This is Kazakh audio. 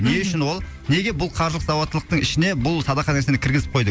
не үшін ол неге бұл қаржылық сауаттылықтың ішіне бұл садақа нәрсені кіргізіп қойды